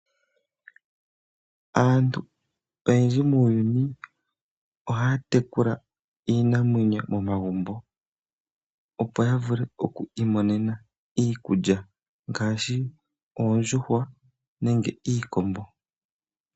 Aantu oyendji muuyuni ohaya tekula iinamwenyo momagumbo opo ya vule oku imonena iikulya ngaashi Oondjuhwa nenge iikombo.